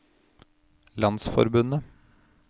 landsforbundet